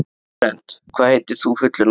Flórent, hvað heitir þú fullu nafni?